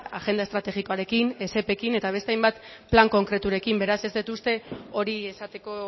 agenda estrategikoarekin ekin eta beste hainbat plan konkreturekin beraz ez dut uste hori esateko